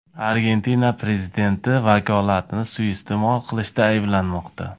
Argentina prezidenti vakolatini suiiste’mol qilishda ayblanmoqda.